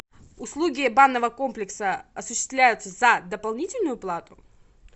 услуги банного комплекса осуществляются за дополнительную плату